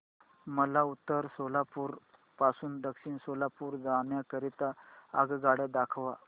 मला उत्तर सोलापूर पासून दक्षिण सोलापूर जाण्या करीता आगगाड्या दाखवा